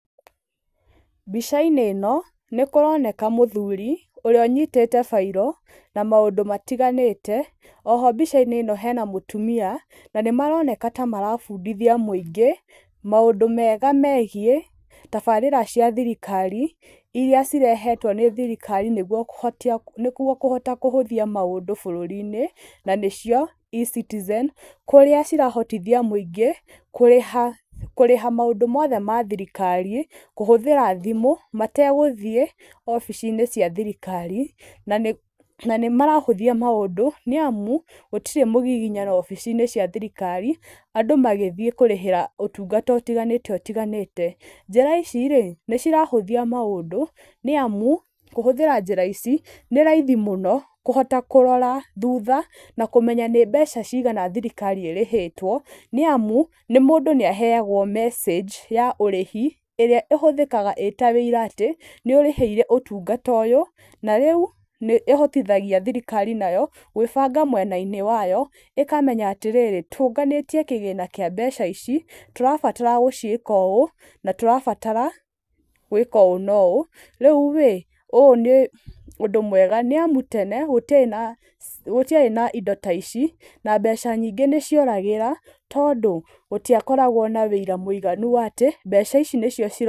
Mbica-inĩ ĩno, nĩ kũroneka mũthuri ũrĩa ũnyitĩte bairo, na maũndũ matiganĩte. Oho mbica-inĩ ĩno hena mũtumia, na nĩ maroneka ta marabundithia mũingĩ maũndũ mega megiĩ tabarĩra cia thirikari iria cirehetwo nĩ thirikari nĩguo kũhotia nĩguo kũhota kũhũthia maũndũ bũrũri-inĩ, na nĩcio E-citizen, kũrĩa cirahotithia mũingĩ, kũrĩha, kũrĩha maũndũ mothe ma thirikari, kũhũthĩra thimũ, mategũthiĩ obici-inĩ cia thirikari, na nĩ, na nĩ marahũthia maũndũ, nĩ amu gũtirĩ mũgiginyano wobici-inĩ cia thirikari andũ magĩthiĩ kũrĩhĩra ũtungata ũtiganĩte ũtiganĩte. Njĩra ici rĩ, nĩ cirahũthia maũndũ, nĩ amu, kũhũthĩra njĩra ici, nĩ raithi mũno kũhota kũrora thutha na kũmenya nĩ mbeca cigana thirikari ĩrĩhĩtwo, nĩ amu nĩ mũndũ nĩ aheagwo mecĩnji ya ũrĩhi ĩrĩa ĩhũthĩkaga ĩta ũira atĩ, nĩ ũrĩhĩire ũtungata ũyũ, na rĩu nĩ ĩhotithagia thirikari nayo, gwĩbanga mwena-inĩ wayo, ĩkamenya atĩrĩrĩ, tũnganĩtie kĩgĩna kĩa mbeca ici, tũrabatara gũciĩka ũũ, na tũrabatara gwĩka ũũ na ũũ. Rĩu rĩ, ũũ nĩ ũndũ mwega nĩ amu tene gũtiarĩ na gũtiarĩ na indo ta ici, na mbeca nyingĩ nĩ cioragĩra, tondũ gũtiakoragwo na ũira mũiganu wa atĩ mbeca ici nĩcio ciratũmĩkire.